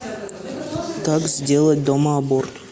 как сделать дома аборт